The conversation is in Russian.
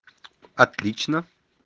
отлично